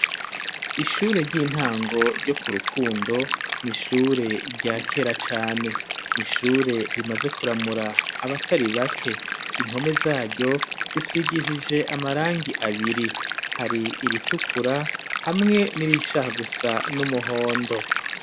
Ishure ry'intango ryo ku Rukundo n'ishure rya kera cane n'ishure rimaze kuramura abatari bake impome zaryo zisigishije amarangi abiri hari iritukura hamwe n'irishaha gusa n'umuhondo